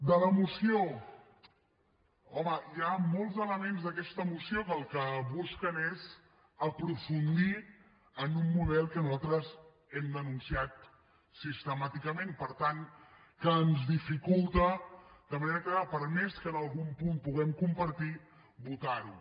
de la moció home hi ha molts elements d’aquesta moció que el que busquen és aprofundir en un model que nosaltres hem denunciat sistemàticament per tant que ens dificulta de manera clara per més que algun punt el puguem compartir votar ho